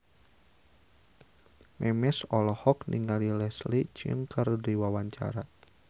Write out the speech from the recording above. Memes olohok ningali Leslie Cheung keur diwawancara